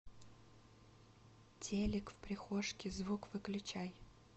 телик в прихожке звук выключай